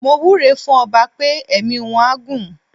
Mo wúre fún ọba pé ẹ̀mí wọ́n á gún.